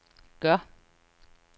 gør